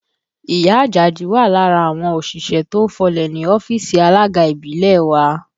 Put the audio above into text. Ìyá Àjàdí wà lára àwọn òṣìṣẹ́ tó ń fọlẹ̀ ní ọ́fíìsì alága ìbílẹ̀ wa